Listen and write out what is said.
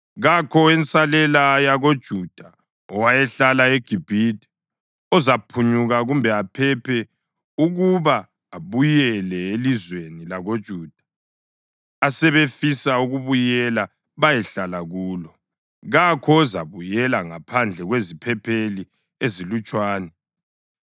Kakho owensalela yakoJuda owayahlala eGibhithe ozaphunyuka kumbe aphephe ukuba abuyele elizweni lakoJuda asebefisa ukubuyela bayehlala kulo, kakho ozabuyela ngaphandle kweziphepheli ezilutshwane.”